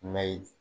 Mɛ